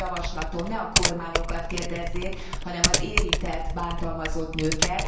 Van egy javaslatom ne a kormányokat kérdezzék, hanem az érintett bántalmazott nőket.